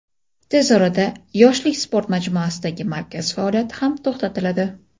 tez orada "Yoshlik" sport majmuasidagi markaz faoliyati ham to‘xtatiladi.